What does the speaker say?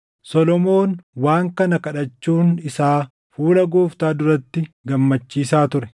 Solomoon waan kana kadhachuun isaa fuula Gooftaa duratti gammachiisaa ture.